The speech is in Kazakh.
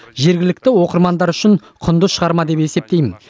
жергілікті оқырмандар үшін құнды шығарма деп есептеймін